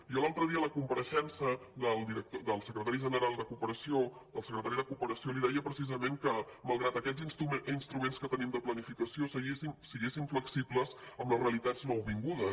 jo l’altre dia a la compareixença del secretari general de cooperació del secretari de cooperació li deia precisament que malgrat aquests instruments que tenim de planificació fóssim flexibles amb les realitats nouvingudes